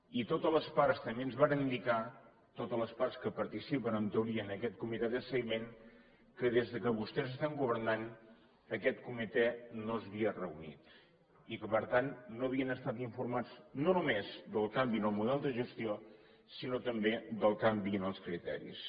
i totes les parts també ens varen indicar totes les parts que participen en teoria en aquest comitè de seguiment que des que vostès estan governant aquest comitè no s’havia reunit i que per tant no havien estat informats no només del canvi en el model de gestió sinó tampoc del canvi en els criteris